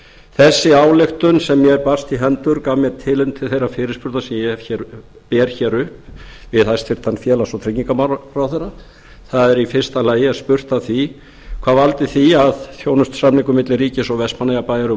þessi ályktun sem mér barst í hendur gaf mér tilefni til þeirrar fyrirspurnar sem ég ber hér upp við hæstvirtur félags og tryggingamálaráðherra það er í fyrsta lagi spurt að því hvað valdi því að þjónustusamningur milli ríkis og vestmannaeyjabæjar um